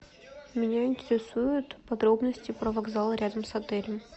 меня интересует подробности про вокзал рядом с отелем